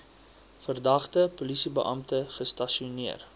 verdagte polisiebeampte gestasioneer